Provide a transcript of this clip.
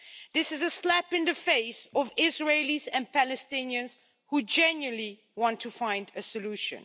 This is a slap in the face of Israelis and Palestinians who genuinely want to find a solution.